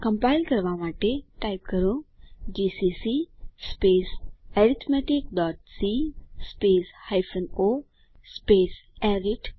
compile કરવા માટે type કરો જીસીસી arithmeticસી o અરિથ